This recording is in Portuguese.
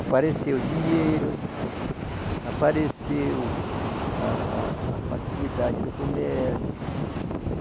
Apareceu o dinheiro, apareceu a a a facilidade do comércio.